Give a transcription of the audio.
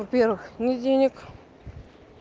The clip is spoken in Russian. во-первых нет денег